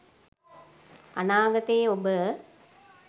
අනාගතයේ ඔබ